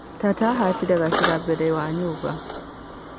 Tata ahatire gacira mbere wa nyũmba.